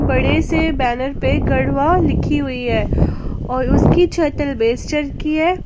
बड़े से बैनर पे गढ़वा लिखी हुई है और उसकी छत अलबेस्टर की है।